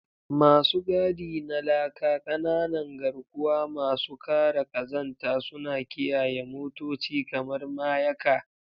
Masu gadi na laka, ƙananan garkuwa masu kare ƙazanta, suna kiyaye motoci kamar mayaka.